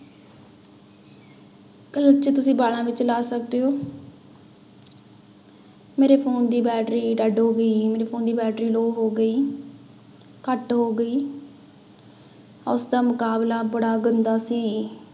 ਕਿ ਉਹ ਚ ਤੁਸੀਂ ਗਾਣਾ ਵੀ ਚਲਾ ਸਕਦੇ ਹੋ ਮੇਰੇ phone ਦੀ battery dead ਹੋ ਗਈ ਹੈ, ਮੇਰੇ phone ਦੀ battery low ਹੋ ਗਈ ਘੱਟ ਹੋ ਗਈ ਉਸਦਾ ਮੁਕਾਬਲਾ ਬੜਾ ਗੰਦਾ ਸੀ।